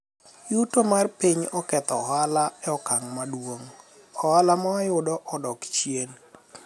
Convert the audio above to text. uyto mar piny oketho ohala e okang' maduong',ohala mawayudo odok chien